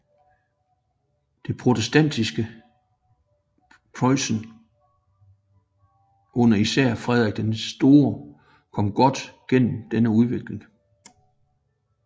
Det protestantiske Preussen under især Frederik den Store kom godt gennem denne udvikling